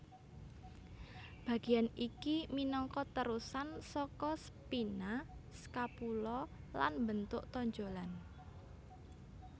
Bagéan iki minangka terusan saka spina scapula lan mbentuk tonjolan